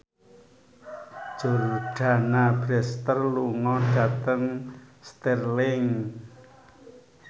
Jordana Brewster lunga dhateng Stirling